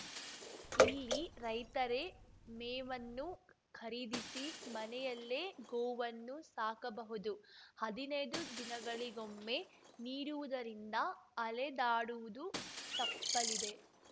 ಇಲ್ಲಿ ರೈತರೇ ಮೇವನ್ನು ಖರೀದಿಸಿ ಮನೆಯಲ್ಲೇ ಗೋವನ್ನು ಸಾಕಬಹುದು ಹದಿನೈದು ದಿನಗಳಿಗೊಮ್ಮೆ ನೀಡುವುದರಿಂದ ಅಲೆದಾಡುವುದು ತಪ್ಪಲಿದೆ